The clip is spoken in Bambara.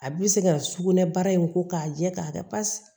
A bɛ se ka sugunɛ bara in ko k'a jɛ k'a kɛ pasi